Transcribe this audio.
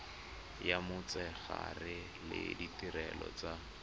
ya motshegare le ditirelo tsa